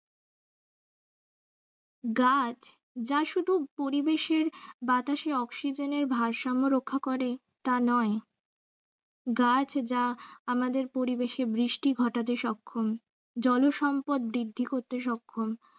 গাছ যা শুধু পরিবেশে বাতাসে oxygen এর ভারসাম্য রক্ষা করে তা নয় গাছ যা আমদের পরিবেশে বৃষ্টি ঘটাতে সক্ষম, জলসম্পদ বৃদ্ধি করতে সক্ষম